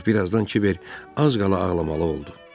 Ancaq bir azdan Kiber az qala ağlamalı oldu.